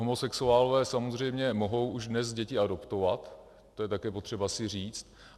Homosexuálové samozřejmě mohou už dnes děti adoptovat, to je také potřeba si říct.